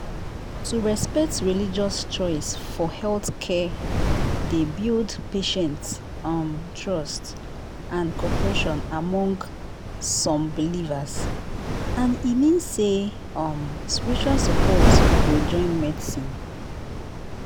to respect religious choice for healthcare dey build patient um trust and cooperation among some believers and e mean say um spiritual support go join medicine